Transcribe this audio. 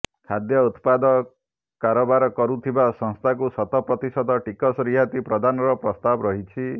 ଖାଦ୍ୟ ଉତ୍ପାଦ କାରବାର କରୁଥିବା ସଂସ୍ଥାକୁ ଶତ ପ୍ରତିଶତ ଟିକସ ରିହାତି ପ୍ରଦାନର ପ୍ରସ୍ତାବ ରହିଛି